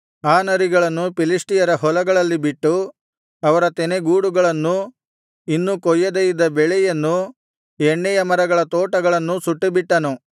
ಆ ನರಿಗಳನ್ನು ಫಿಲಿಷ್ಟಿಯರ ಹೊಲಗಳಲ್ಲಿ ಬಿಟ್ಟು ಅವರ ತೆನೆಗೂಡುಗಳನ್ನೂ ಇನ್ನೂ ಕೊಯ್ಯದೆ ಇದ್ದ ಬೆಳೆಯನ್ನೂ ಎಣ್ಣೆಯ ಮರಗಳ ತೋಟಗಳನ್ನೂ ಸುಟ್ಟುಬಿಟ್ಟನು